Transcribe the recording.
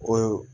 O